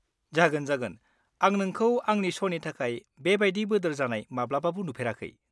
-जागोन जागोन, आं नोंखौ आंनि श 'नि थाखाय बेबादि जानाबोदोर जानाय माब्लाबाबो नुफेराखै।